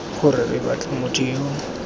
gore re batle motho yo